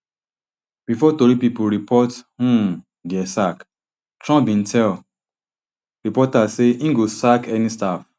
bifor tori pipo report um dia sack trump bin tell reporters say im go sack any staff